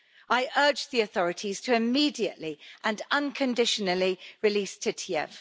I urge the authorities to immediately and unconditionally release Titiev.